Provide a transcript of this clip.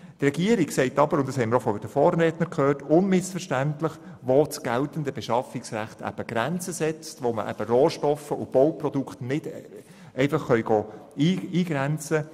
Die Regierung sagt aber unmissverständlich – dies haben wir auch von den Vorrednern gehört –, wo das geltende Beschaffungsrecht eben die Grenzen setzt, sodass Rohstoffe und Bauprodukte nicht einfach so eingegrenzt werden können.